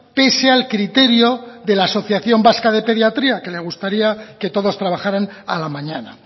pese al criterio de la asociación vasca de pediatría que le gustaría que todos trabajaran a la mañana